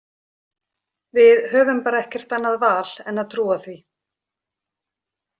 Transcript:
Við höfum bara ekkert annað val en að trúa því.